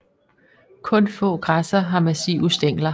Kun få græsser har massive stængler